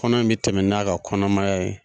Kɔnɔ in mi tɛmɛ n'a ka kɔnɔmaya ye.